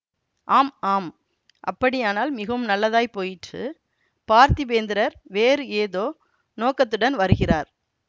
ஆம் ஆம் அப்படியானால் மிகவும் நல்லதாய் போயிற்று பார்த்திபேந்திரர் வேறு ஏதோ நோக்கத்துடன் வருகிறார்